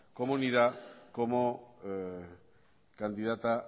comunidad como candidata